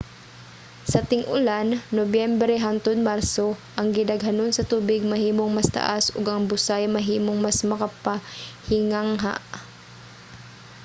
sa ting-ulan nobyembre hangtod marso ang gidaghanon sa tubig mahimong mas taas ug ang busay mahimong mas makapahingangha